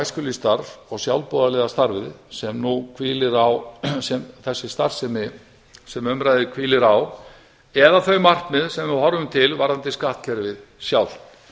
æskulýðsstarf og sjálfboðaliðastarfið sem sem þessi starfsemi sem um ræðir hvílir á eða þau markmið sem við horfum til varðandi skattkerfið sjálft